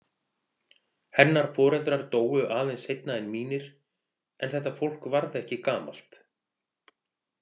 Hennar foreldrar dóu aðeins seinna en mínir en þetta fólk varð ekki gamalt.